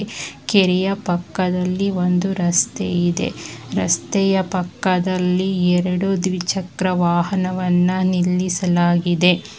ಪಕ್ಕದಲ್ಲಿ ಒಂದು ರಸ್ತೆ ಇದೆ ರಸ್ತೆಯ ಪಕ್ಕದಲ್ಲಿ ಎರಡು ದ್ವಿಚಕ್ರ ವಾಹನವನ್ನ ನಿಲ್ಲಿಸಲಾಗಿದೆ.